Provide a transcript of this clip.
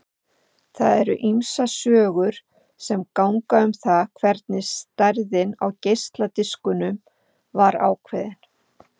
Það eru ýmsar sögur sem ganga um það hvernig stærðin á geisladiskunum var ákveðin.